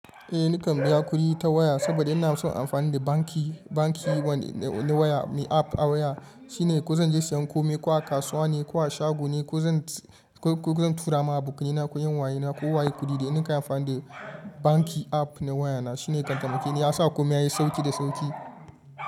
Eh ni kan biya kuɗi ta waya saboda ina son amfani da banki, banki wani waya mai app a waya shine ko zan je siyan kome ko a kasuwa ne ko a shago ne ko zan tura ma abokaina ko 'yan wayena ko waye kuɗi da in kan yi amfani da banki app na waya na shine kantamaki ni ya sa kome yayi sauƙi da sauƙi.